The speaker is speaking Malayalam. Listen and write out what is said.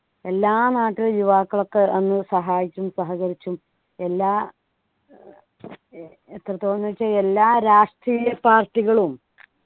എല്ലാ നാട്ടിലെ യുവാക്കൾ ഒക്കെ അന്ന് സഹായിച്ചും സഹകരിച്ചും എല്ലാ ഏർ ഏർ എത്രത്തോളം ന്നു വെച്ചാ എല്ലാ രാഷ്ട്രീയ party കളും